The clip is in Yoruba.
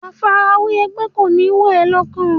Àfarawé ẹgbẹ́ kò ní wọ̀ ẹ́ lọ́kàn.